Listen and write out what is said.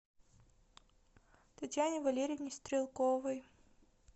татьяне валерьевне стрелковой